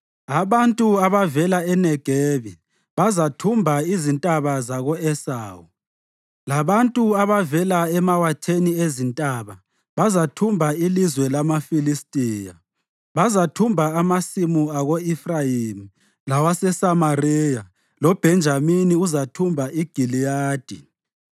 Abantu abavela eNegebi bazathumba izintaba zako-Esawu, labantu abavela emawatheni ezintaba bazathumba ilizwe lamaFilistiya. Bazathumba amasimu ako-Efrayimi lawaseSamariya, loBhenjamini uzathumba iGiliyadi.